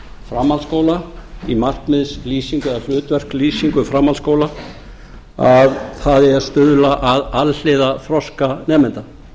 framhaldsskóla í markmiðslýsingu eða hlutverkalýsingu framhaldsskóla að það eigi að stuðla að alhliða þroska nemenda